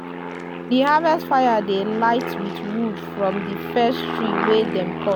di harvest fire dey light with wood from di first tree wey dem cut.